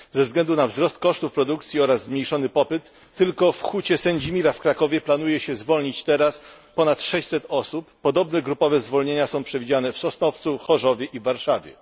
Ze względu na wzrost kosztów produkcji oraz zmniejszony popyt tylko w Hucie Sędzimira w Krakowie planuje się zwolnić teraz ponad 600 osób, podobne grupowe zwolnienia są przewidziane w Sosnowcu, Chorzowie i Warszawie.